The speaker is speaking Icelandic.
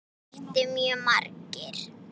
Það mættu mjög margir.